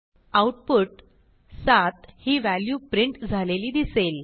output 7 ही value print झालेली दिसेल